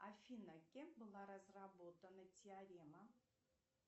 афина кем была разработана теорема